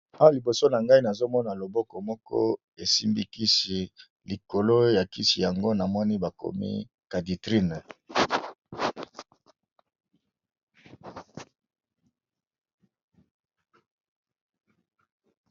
oya liboso na ngai nazomona loboko moko esimbikisi likolo ya kisi yango na moni bakomi kaditrine